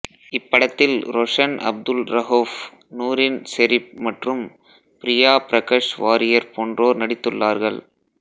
இப்படத்தில் ரொஷன் அப்துல் ரஹோஃப் நூரின் செரிப் மற்றும் பிரியா பிரகஷ் வாரியார் போன்றோர் நடித்துள்ளார்கள்